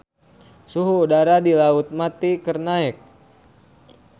Suhu udara di Laut Mati keur naek